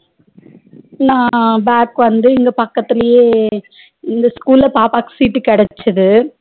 நா back வந்து இங்க பக்கத்துலையே இந்த school ல பாப்பாக்கு sheet கிடச்சது